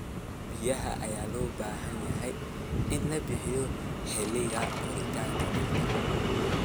Biyaha ayaa loo baahan yahay in la bixiyo xilliga koritaanka dhirta.